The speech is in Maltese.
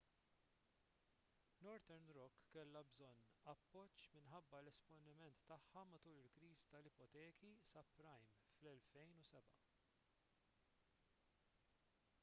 northern rock kellha bżonn appoġġ minħabba l-esponiment tagħha matul il-kriżi tal-ipoteki subprime fl-2007